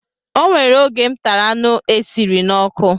O nwere oge m tara anụ esiri n'ọkụ